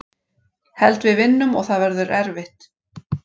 Held við vinnum og það verður erfitt.